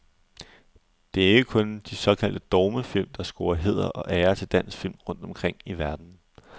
Det er ikke kun de såkaldte dogmefilm, der scorer hæder og ære til dansk film rundt omkring i verden.